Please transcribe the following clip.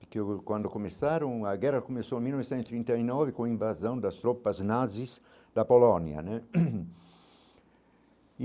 Porque quando começaram, a guerra começou em mil novecentos e trinta e nove com a invasão das tropas nazis na Polônia né.